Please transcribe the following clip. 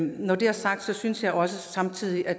når det er sagt synes jeg også samtidig at